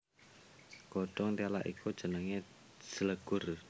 Godhong téla iku jenengé jlegur